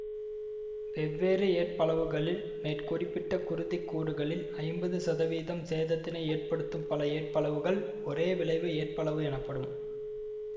வெவ்வேறு ஏற்பளவுகளில் மேற்குறிப்பிட்ட குருதிக்கூறுகளில் ஐம்பது சதவீதம் சேதத்தினை ஏற்படுத்தும் பல ஏற்பளவுகள் ஒரேவிளைவு ஏற்பளவு எனப்படும்